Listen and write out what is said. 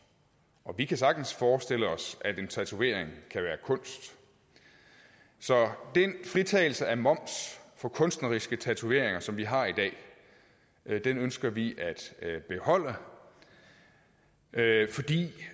og vi kan sagtens forestille os at en tatovering kan være kunst så den fritagelse af moms for kunstneriske tatoveringer som vi har i dag ønsker vi at beholde fordi